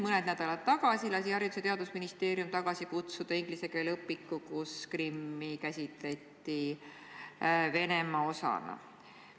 Mõne nädala eest lasi Haridus- ja Teadusministeerium tagasi kutsuda inglise keele õpiku, milles oli Krimmi käsitletud Venemaa osana.